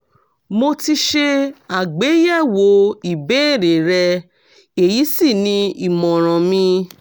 mo ti ṣe àgbéyẹ̀wò ìbéèrè rẹ èyí sì ni ìmọ̀ràn mi